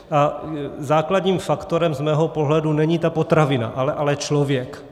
A základním faktorem z mého pohledu není ta potravina, ale člověk.